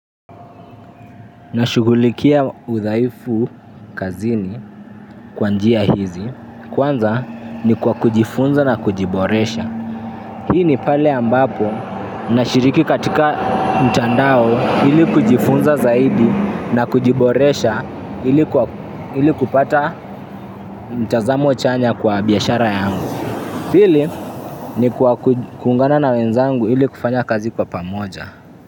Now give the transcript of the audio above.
Nashugulikia udhaifu kazini kwa njia hizi kwanza ni kwa kujifunza na kujiboresha. Hii ni pale ambapo na shiriki katika mtandao ili kujifunza zaidi na kujiboresha ili kupata mtazamo chanya kwa biashara yangu pili ni kwa kuungana na wenzangu ili kufanya kazi kwa pamoja.